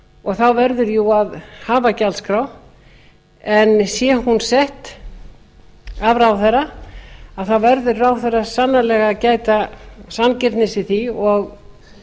og þá verður jú að hafa gjaldskrá en sé hún sett af ráðherra verður ráðherra sannarlega að gæta sanngirni í því og